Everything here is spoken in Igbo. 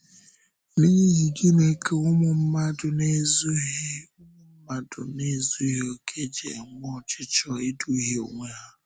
N’ihi gị́nị ka ụmụ mmadụ na-ezughị ụmụ mmadụ na-ezughị okè ji enwe ọchịchọ ịdùhie onwe ha?